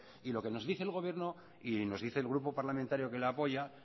y lo que nos dice el gobierno y nos dice el grupo parlamentario que lo apoya